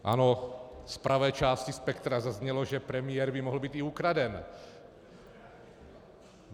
Ano, z pravé části spektra zaznělo, že premiér by mohl být i ukraden.